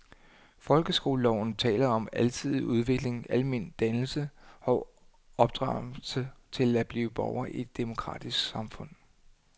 Folkeskoleloven taler om alsidig udvikling, almen dannelse og opdragelse til at blive borger i et demokratisk samfund.